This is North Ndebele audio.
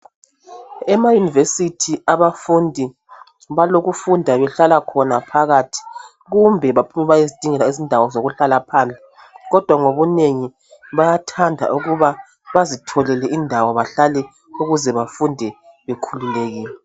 Emayunivesithi abafundi balokufunda behlala khona phakathi kumbe bephume beyezingela indawo zokuhlala phandle kodwa ngobunengi bayathanda ukuba bazitholele indawo bahlale ukuze bafunde bekhululekile.